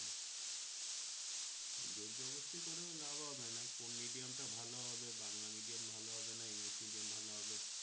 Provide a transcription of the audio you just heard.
জোরজবরদস্তি করেও লাভ হবে না কোন medium টা ভালো হবে বাংলা medium ভালো হবে না english medium ভালো হবে